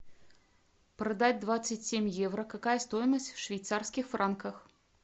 продать двадцать семь евро какая стоимость в швейцарских франках